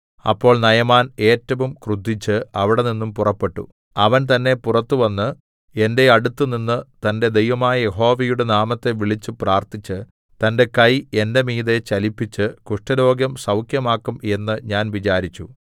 അപ്പോൾ നയമാൻ ഏറ്റവും ക്രുദ്ധിച്ച് അവിടെനിന്നും പുറപ്പെട്ടു അവൻ തന്നെ പുറത്തുവന്ന് എന്റെ അടുത്തുനിന്ന് തന്റെ ദൈവമായ യഹോവയുടെ നാമത്തെ വിളിച്ച് പ്രാർത്ഥിച്ച് തന്റെ കൈ എന്റെ മീതെ ചലിപ്പിച്ച് കുഷ്ഠരോഗം സൗഖ്യമാക്കും എന്ന് ഞാൻ വിചാരിച്ചു